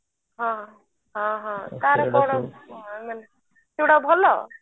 ହଁ ହଁ ହଁ କାର କାର ସେଟା ଭଲ